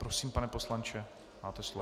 Prosím, pane poslanče, máte slovo.